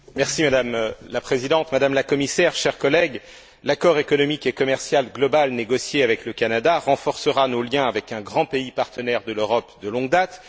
Madame la Présidente, Madame la Commissaire, chers collègues, l'accord économique et commercial global négocié avec le Canada renforcera nos liens avec un grand pays partenaire de l'Europe de longue date.